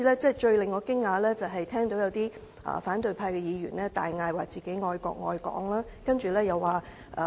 最令我驚訝的是聽到有反對派議員大叫自己愛國愛港。